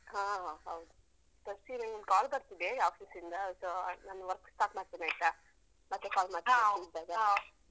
ಹಾ ಹೌದು ಸೃಷ್ಟಿ ನಂಗೊಂದ್ call ಬರ್ತಿದೆ office ನಿಂದ. so ನಾನ್ work start ಮಾಡ್ತೇನಾಯ್ತಾ? ಮತ್ತೆ call ಮಾಡ್ತೇನೆ free ಇದ್ದಾಗ.